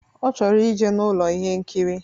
Ọ chọrọ ije n'Ụlọ ihe nkiri.